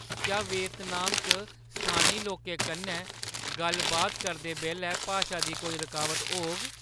क्या वियतनाम च स्थानी लोकें कन्नै गल्ल-बात करदे बेल्लै भाशा दी कोई रुकावट होग?